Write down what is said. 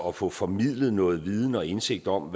at få formidlet noget viden og indsigt om